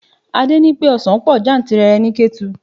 Adé ní pé ọsan pọ̀ jantìrẹrẹ ni Ketu.